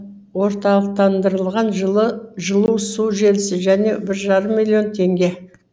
орталықтандырылған жылу су желісі және бір жарым миллион теңге